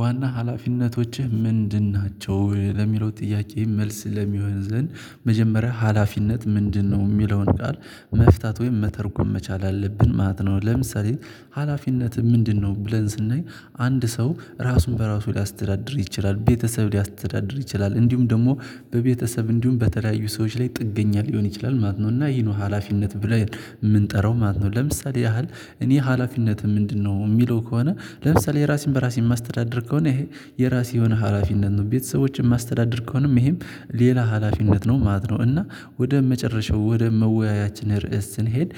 ዋና ሀላፊነቶችህ ምንድን ናቸው ለሚለው ጥያቄ መልስ ለሚሆን ዘንድ መጀመሪያ ሀላፊነት ምንድነው የሚለውን ቃል መፍታት ወይም መተርጎም መቻል አለብን ማለት ነው። ለምሳሌ ሀላፊነትህ ምንድነው? ብለን ስናይ አንድ ሰው ራሱን በራሱ ሊያስተዳድር ይችላል ቤተሰብ ሊያስተዳድር ይችላል እንዲሁም ደግሞ በቤተሰብ እንዲሁም በተለያዩ ሰዎች ላይ ጥገኛ ሊሆን ይችላል ማለት ነው። እና ይሄ ነው ሀላፊነት ብለን የምንጠራው ማለት ነው። ለምሳሌ ያህል እኔ ሀላፊነትህ ምንድነው የሚለው ከሆነ። ለምሳሌ ራሴን በራሴ የማስተዳደር ከሆነ ይሄ የራሴ የሆነ ሀላፊነት ነው ቤተሰቦቼን የማስተዳደር ከሆነም ይሄም ሌላ ሀላፊነት ነው ማለት ነው። እና ወደ መጨረሻው ወደ መወያያችን ርዕስ ስንሄድ